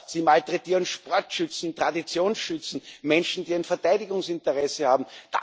Sie malträtieren Sportschützen, Traditionsschützen, Menschen, die ein Verteidigungsinteresse haben.